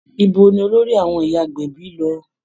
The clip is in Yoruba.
Ibo ni olórí àwọn ìyá agbẹ̀bí lọ?